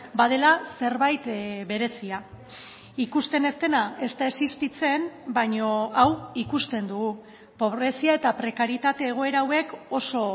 badela zerbait berezia ikusten ez dena ez da existitzen baina hau ikusten dugu pobrezia eta prekarietate egoera hauek oso